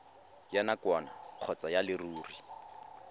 ya nakwana kgotsa ya leruri